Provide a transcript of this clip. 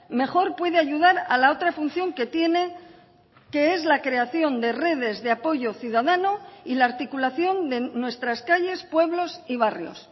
mejor puede ayudar a la otra función que tiene que es la creación de redes de apoyo ciudadano y la articulación de nuestras calles pueblos y barrios